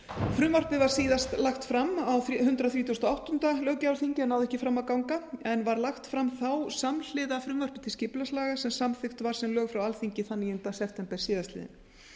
frumvarpið var síðast lagt fram á hundrað þrítugasta og áttunda löggjafarþingi náði ekki fram að ganga en var lagt fram þá samhliða frumvarpi til skipulagslaga sem samþykkt var sem lög frá alþingi þann níunda september síðastliðinn